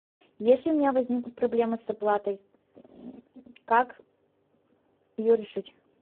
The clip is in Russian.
если у меня возникнут проблемы с оплатой как ее решить